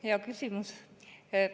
Hea küsimus.